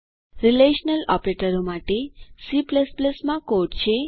relational ઓપરેટરો માટે C માં કોડ છે